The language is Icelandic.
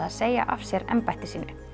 að segja af sér embætti sínu